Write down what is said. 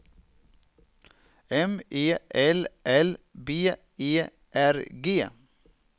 M E L L B E R G